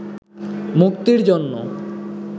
মুক্তির জন্য